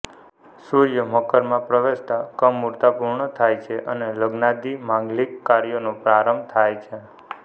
સૂર્ય મકરમાં પ્રવેશતાં કમુરતા પૂર્ણ થાય છે અને લગ્નાદિ માંગલિક કાર્યોનો પ્રારંભ થાય છે